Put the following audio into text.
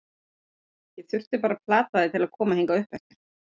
Ég þurfti bara að plata þig til að koma hingað uppeftir.